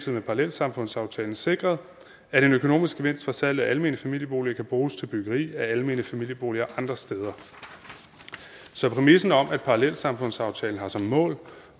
med parallelsamfundsaftalen sikret at en økonomisk gevinst for salget af almene familieboliger kan bruges til byggeri af almene familieboliger andre steder så præmissen om at parallelsamfundsaftalen har som mål